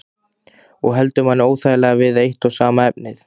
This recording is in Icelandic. Og heldur manni óþægilega við eitt og sama efnið.